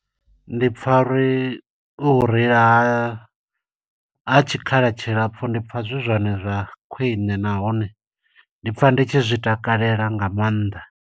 Ndi pfa uri, u reila ha tshikhala tshilapfu, ndi pfa zwi zwone zwa khwiṋe, nahone ndi pfa nditshi zwi takalela nga maanḓa.